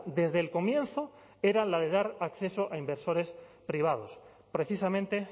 desde el comienzo era la de dar acceso a inversores privados precisamente